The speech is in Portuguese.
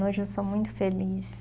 Hoje eu sou muito feliz.